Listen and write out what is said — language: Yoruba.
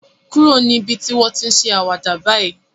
Kúrò níbi tí wọ́n ti ń ṣe àwàdà báyìí